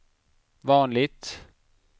vanligt